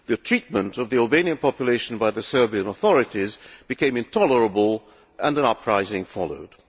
The treatment of the Albanian population by the Serbian authorities became intolerable, and an uprising followed.